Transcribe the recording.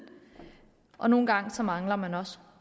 og nogle gange mangler man også